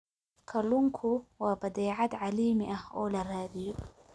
Kalluunku waa badeecad caalami ah oo la raadiyo.